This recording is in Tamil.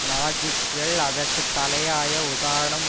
நாஜிக்கள் அதற்கு தலையாய உதாரணம்